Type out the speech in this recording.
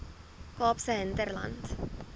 kaapse hinterland